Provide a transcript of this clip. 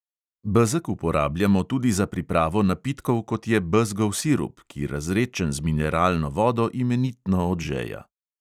Bezeg uporabljamo tudi za pripravo napitkov, kot je bezgov sirup, ki razredčen z mineralno vodo imenitno odžeja.